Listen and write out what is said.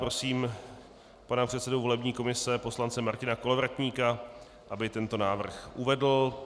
Prosím pana předsedu volební komise poslance Martina Kolovratníka, aby tento návrh uvedl.